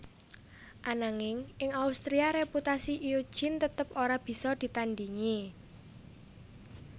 Ananging ing Austria reputasi Eugene tetep ora bisa ditandingi